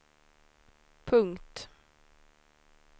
punkt